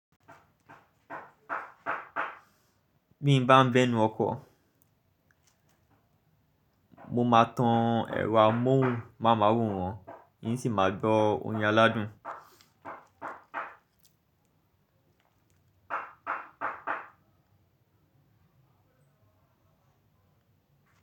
Bí n bá bẹnu ọkọ̀, mo máa tan ẹ̀rọ amohunmaworan n sì máa gbọ orin aládùn.